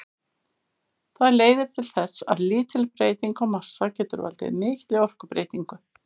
Það leiðir til þess að lítil breyting á massa getur valdið mikilli orkubreytingu.